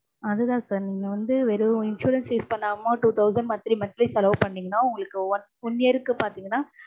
அதுதா sir நீங்க வந்து வெறும் insurance use பண்ணாம two thousand monthly monthly செலவு பாண்ணிங்கன்னா உங்களுக்கு one year க்கு பாத்தீங்கன்னா